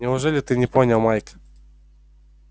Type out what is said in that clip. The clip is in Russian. неужели ты не понял майк